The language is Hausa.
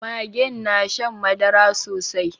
Magen na shan madara sosai